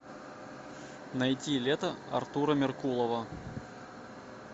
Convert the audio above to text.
найти лето артура меркулова